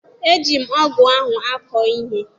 E ji m ọgụ ahụ akọ ihe.